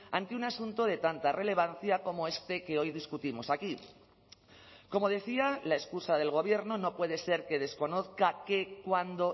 ante un asunto de tanta relevancia como este que hoy discutimos aquí como decía la excusa del gobierno no puede ser que desconozca qué cuándo